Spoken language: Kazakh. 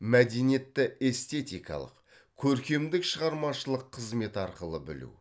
мәдениетті эстетикалық көркемдік шығармашылық қызмет арқылы білу